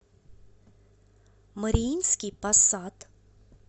мариинский посад